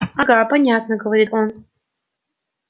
ага понятно говорит он